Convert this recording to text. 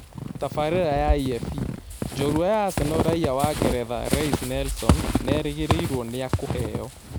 (Tabarĩra ya EFE) njorua ya Arsenal raiya wa ngeretha Reiss Nelson nerĩgĩrĩirwo niakũheo